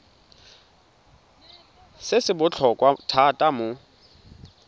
se se botlhokwa thata mo